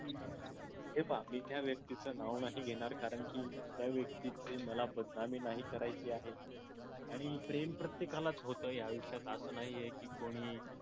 हे पहा मी त्या व्यक्तीच नाव नाही घेणार कारंकी त्या व्यक्तीची मला बदनामी नाही करायची आहे आणि प्रेम प्रत्येकालाच होत या आयुष्यात आस नाहीये की कोणी